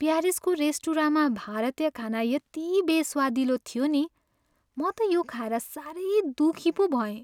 प्यारिसको रेस्टुराँमा भारतीय खाना यति बेस्वादिलो थियो नि म त यो खाएर सारै दुखी पो भएँ।